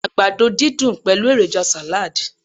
àgbàdo didun pẹlu eroja salad